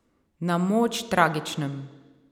Na moč tragičnem.